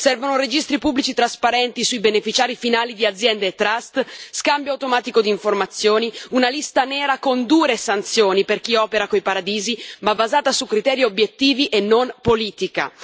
Servono registri pubblici trasparenti sui beneficiari finali di aziende e trust, scambio automatico di informazioni, una lista nera con dure sanzioni per chi opera coi paradisi, ma basata su criteri obiettivi e non politica.